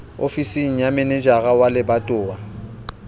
ofising ya manejara wa lebatowa